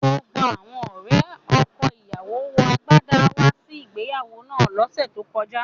Gbogbo awọn ọ̀rẹ̀ ọkọ̀-ìyáwó wọ àgbádà wà sí ìgbèyàwó náà lòṣè tó kọjà